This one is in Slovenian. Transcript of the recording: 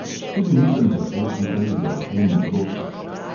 Tudi nisem zato tukaj, da o tem odločam.